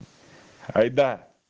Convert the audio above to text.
айда